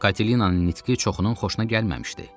Katelinanın nitqi çoxunun xoşuna gəlməmişdi.